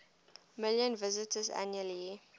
million visitors annually